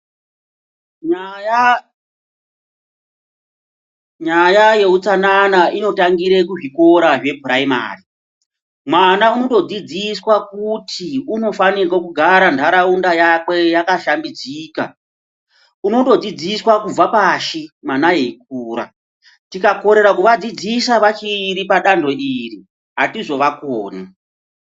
Nyaya nyaya yeutsanana inotangira kuzvikora zvephuraimari mwana unondodzidziswa kuti unofanirwe kugara nharaunda yakwe yakashambidzika unondodzidziswa kubva pashi mwana eikura tikakorera kuvadzidzisa vachiri padanho iri atizovakoni.